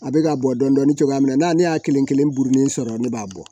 A bɛ ka bɔ dɔɔnin dɔɔnin cogoya min na n'ale y'a kelen kelen buruni sɔrɔ ne b'a bɔ